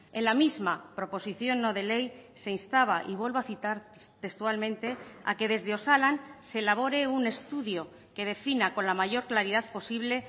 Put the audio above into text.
en la misma proposición no de ley se instaba y vuelvo a citar textualmente a que desde osalan se elabore un estudio que defina con la mayor claridad posible